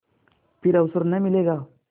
फिर अवसर न मिलेगा